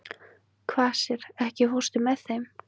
Kvasir, ekki fórstu með þeim?